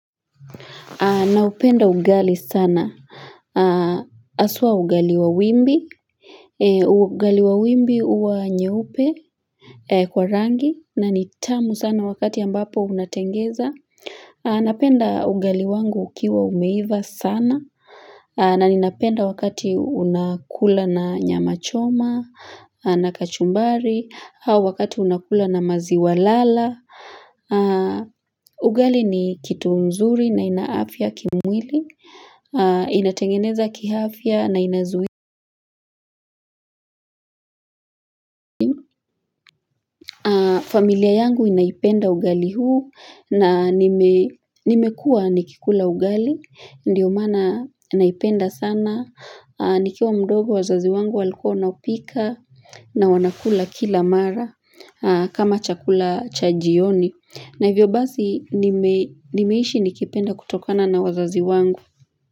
Naupenda ugali sana. Haswa ugali wa wimbi. Ugali wa wimbi huwa nyeupe. Kwa rangi. Na ni tamu sana wakati ambapo unatengeza. Napenda ugali wangu ukiwa umeiva sana. Na ninapenda wakati unakula na nyama choma. Na kachumbari au Wakati unakula na maziwa lala. Ugali ni kitu mzuri na ina afya kimwili. Inatengeneza kiafya na inazui familia yangu inaipenda ugali huu na nime nimekua nikikula ugali ndiyo maana naipenda sana nikiwa mdogo wazazi wangu walikuwa wanapika na wanakula kila mara kama chakula cha jioni na hivyo basi nimei nimeishi nikipenda kutokana na wazazi wangu.